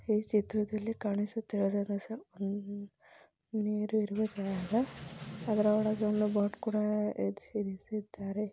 ಈ ಚಿತ್ರದಲ್ಲಿ ಕಾಣುಸುತ್ತಿರುವ ರಸ ನೀರು ಇರುವ ಜಾಗ ಅದರ ಒಳಗೆ ಒಂದು ಬೋಟ್ ಕೂಡ ಹೆದ್ರಿಸಿ ನಿಲ್ಸಿದ್ದಾರೆ.